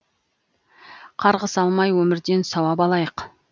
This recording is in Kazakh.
қарғыс алмай өмірден сауап алайық